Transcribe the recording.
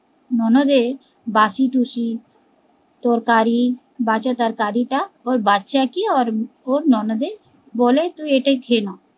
ননদের বাসিটুসি তরকারি বাচা তরকারি টা ওর বাচ্ছা কে ওর ওর ননদের বলে তুই এটাই খেয়ে নাও